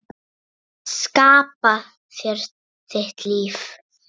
Skapa þér þitt líf.